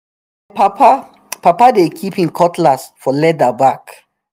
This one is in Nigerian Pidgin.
my papa papa dey kip him cutlass for leather bag